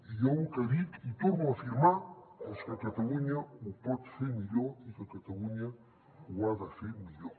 i jo lo que dic i torno a afirmar és que catalunya ho pot fer millor i que catalunya ho ha de fer millor